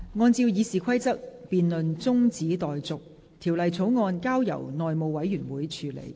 按照《議事規則》，辯論中止待續，條例草案交由內務委員會處理。